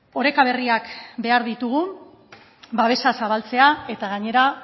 oreka berriak behar ditugu babesa zabaltzea eta gainera